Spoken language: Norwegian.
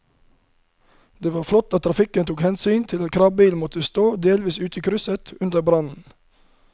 Det var flott at trafikken tok hensyn til at kranbilen måtte stå delvis ute i krysset under brannen.